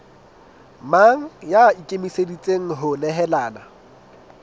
mang ya ikemiseditseng ho nehelana